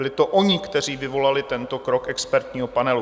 Byli to oni, kteří vyvolali tento krok expertního panelu.